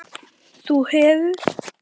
þú hefir